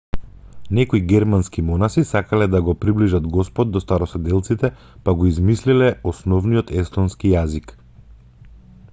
некои германски монаси сакале да го приближат господ до староседелците па го измислиле основниот естонски јазик